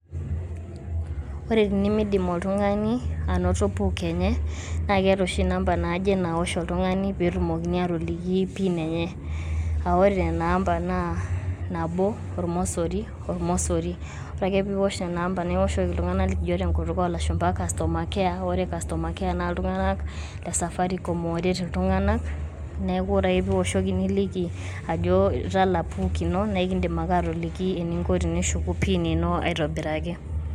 Ore tenemeidim oltung`ani anoto PUK enye, naa keeta oshi inamba naaje naawosh oltung`ani pee etumokini aatoliki pin enye. Aah ore nena amba naa nabo, olmosori, olmosori ore ake pee iwosh nena amba niwoshoki iltung`anak likijo te nkutuk oo lashumba customer care. Ore customer care naa iltung`anak le safaricom ooret iltung`anak. Niaku ore ake pee iwoshoki niliki ajoitala PUK ino naa ekidim ake aatoliki eninko tenishuku pin ino aitobiraki.